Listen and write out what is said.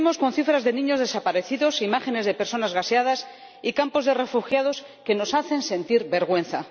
convivimos con cifras de niños desaparecidos, imágenes de personas gaseadas y campos de refugiados que nos hacen sentir vergüenza.